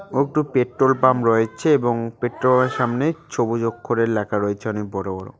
ও একটু petrol pump রয়েছে এবং পেট্রোল -এর সামনে ছবুজ অক্ষরে লেখা রয়েছে অনেক বড়ো বড়ো।